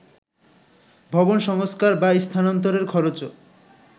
ভবন সংস্কার বা স্থানান্তরের খরচও